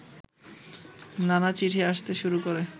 নানা চিঠি আসতে শুরু করে